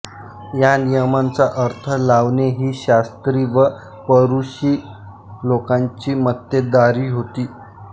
या नियमांचा अर्थ लावणे ही शास्त्री व परुशी लोकांची मक्तेदारी होती